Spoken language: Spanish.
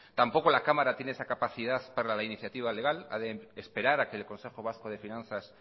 tampoco la cámara tiene esa capacidad para la iniciativa legal ha de esperar a que el consejo vasco de finanzas